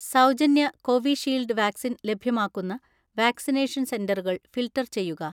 സൗജന്യ Covishield vaccine ലഭ്യമാക്കുന്ന vaccination സെന്ററുകൾ ഫിൽട്ടർ ചെയ്യുക.